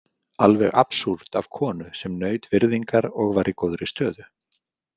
Alveg absúrd af konu sem naut virðingar og var í góðri stöðu.